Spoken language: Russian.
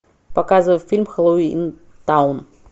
показывай фильм хэллоуинтаун